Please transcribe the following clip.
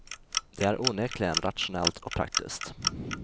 Det är onekligen rationellt och praktiskt.